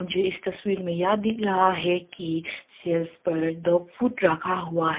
यह इस तस्वीर में यह दिख रहा है की सेल्स पर डॉग फूड रखा हुआ है।